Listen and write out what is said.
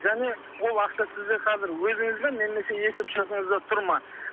және ол ақша сізде қазір өзіңізде немесе есепшотыңызда тұр ма